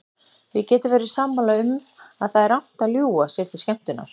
Við getum verið sammála um að það er rangt að ljúga sér til skemmtunar.